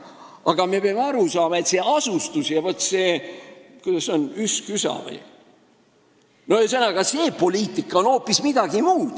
Nii et me peame aru saama, et see asustuspoliitika on hoopis midagi muud.